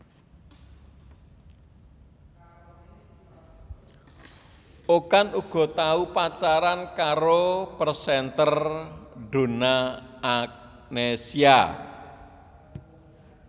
Okan uga tau pacaran karo presenter Donna Agnesia